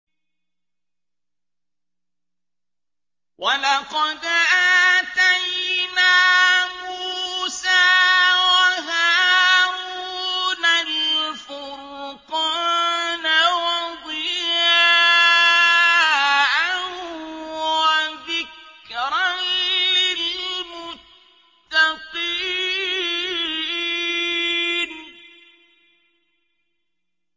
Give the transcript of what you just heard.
وَلَقَدْ آتَيْنَا مُوسَىٰ وَهَارُونَ الْفُرْقَانَ وَضِيَاءً وَذِكْرًا لِّلْمُتَّقِينَ